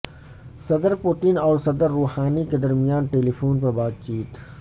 صدر پوتین اور صدر روحانی کے درمیان ٹیلی فون پر بات چیت